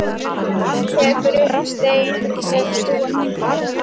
Tekur upp stein úr götu sinni.